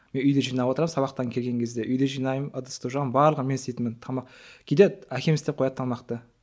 мен үйде жинап отырамын сабақтан келген кезде үйді жинаймын ыдысты жуамын барлығын мен істейтінмін тамақ кейде әкем істеп қояды тамақты